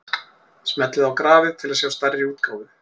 Smellið á grafið til að sjá stærri útgáfu.